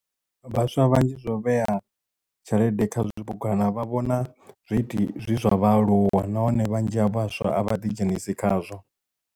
Vhaswa vhanzhi zwo vhea tshelede kha zwibugwana vha vhona zwi zwa vhaaluwa nahone vhanzhi ha vhaswa a vha ḓi dzhenisi khazwo.